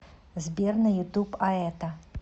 сбер на ютуб аэта